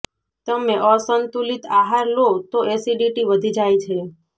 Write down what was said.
તમે અસંતુલિત આહાર લો તો એસિડિટી વધી જાય છે